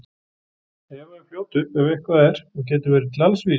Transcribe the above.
Eva er fljót upp ef eitthvað er og getur verið til alls vís.